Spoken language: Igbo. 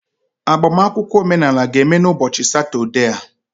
agbamakwụkwọ omenala ga-eme n'ụbọchị Satọde a